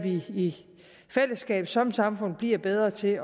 i fællesskab som samfund bliver bedre til